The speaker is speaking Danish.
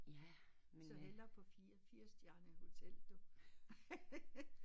Men så hellere på fire og firs de andre i hotel du